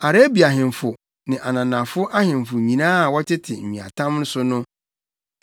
Arabia ahemfo ne ananafo ahemfo nyinaa a wɔtete nweatam so no.